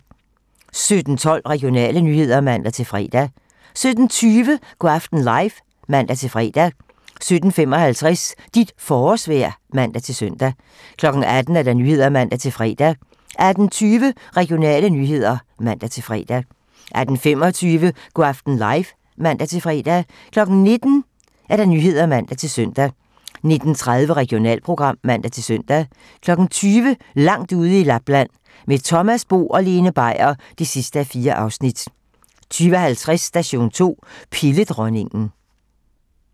17:12: Regionale nyheder (man-fre) 17:20: Go' aften live (man-fre) 17:55: Dit forårsvejr (man-søn) 18:00: 18 Nyhederne (man-fre) 18:20: Regionale nyheder (man-fre) 18:25: Go' aften live (man-fre) 19:00: 19 Nyhederne (man-søn) 19:30: Regionalprogram (man-søn) 20:00: Langt ude i Lapland - Med Thomas Bo og Lene Beier (4:4) 20:50: Station 2: Pilledronningen (man)